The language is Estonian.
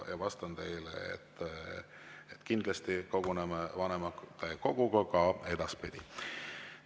Ja vastan teile, et kindlasti koguneb vanematekogu ka edaspidi.